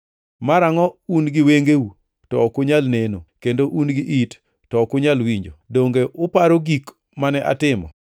Marangʼo un gi wengeu to ok unyal neno, kendo un gi it to ok unyal winjo? Donge uparo gik mane atimo?